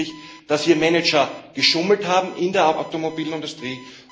Der eine ist nämlich, dass hier Manager geschummelt haben in der Automobilindustrie.